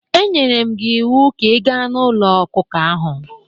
E nyere m gị iwu ka ị gaa n'ụlọ ọkụkọ ahụ!